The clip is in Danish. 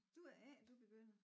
Du er A du begynder